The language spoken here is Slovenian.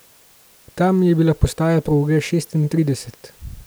Tam je bila postaja proge šestintrideset.